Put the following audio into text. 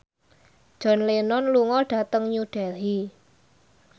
John Lennon lunga dhateng New Delhi